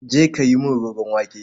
Je ka yi mini roron wake.